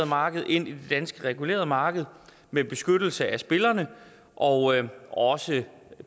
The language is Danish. marked ind i det danske regulerede marked med beskyttelse af spillerne og også